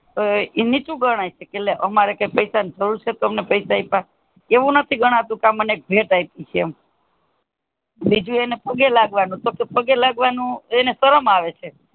એનું સુ ગણાય સે લે અપને પૈસા જરૂર સે પૈસા આપીયા એવું નથી ગણાતું કે મને ભેટ અપી થી એમ બીજુ એને પગે લાગે તોહ એને પગે લાગવાને શરમ આવે.